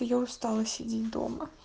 я устала сидеть дома